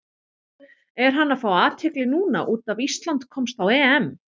Er hann að fá athygli núna út af Ísland komst á EM?